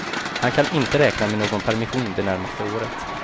Han kan inte räkna med någon permission det närmaste året.